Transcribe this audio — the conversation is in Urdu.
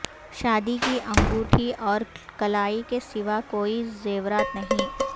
شادی کی انگوٹی اور کلائی کے سوا کوئی زیورات نہیں